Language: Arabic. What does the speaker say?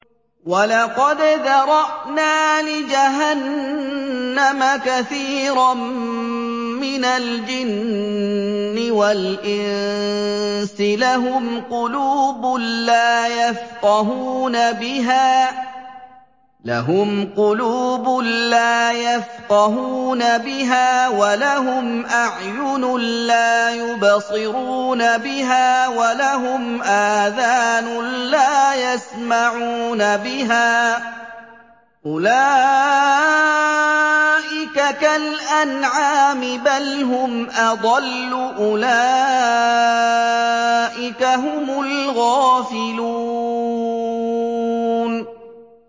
وَلَقَدْ ذَرَأْنَا لِجَهَنَّمَ كَثِيرًا مِّنَ الْجِنِّ وَالْإِنسِ ۖ لَهُمْ قُلُوبٌ لَّا يَفْقَهُونَ بِهَا وَلَهُمْ أَعْيُنٌ لَّا يُبْصِرُونَ بِهَا وَلَهُمْ آذَانٌ لَّا يَسْمَعُونَ بِهَا ۚ أُولَٰئِكَ كَالْأَنْعَامِ بَلْ هُمْ أَضَلُّ ۚ أُولَٰئِكَ هُمُ الْغَافِلُونَ